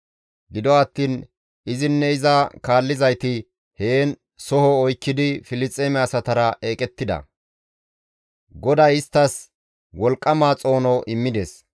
Gido attiin izinne iza kaallizayti heen soho oykkidi Filisxeeme asatara eqettida; GODAY isttas wolqqama xoono immides.